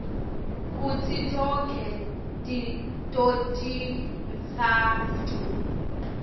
kutsi tonkhe totintsatfu